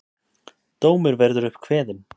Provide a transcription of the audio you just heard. Dómur verður upp kveðinn.